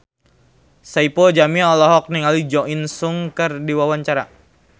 Saipul Jamil olohok ningali Jo In Sung keur diwawancara